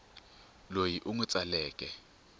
loyi u n wi tsaleke